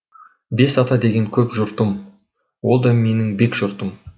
бес ата деген көп жұртым ол да менің бек жұртым